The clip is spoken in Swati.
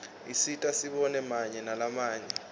isisita sibone mave lamanye